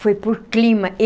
Foi por clima.